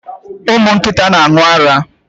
Ụmụ nkịta n'aṅu ara